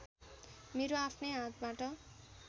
मेरो आफ्नै हातबाट